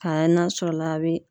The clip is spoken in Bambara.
na sɔrɔ la a bi